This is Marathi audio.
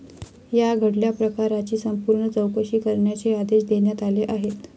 या घडल्या प्रकाराची संपूर्ण चौकशी करण्याचे आदेश देण्यात आले आहेत.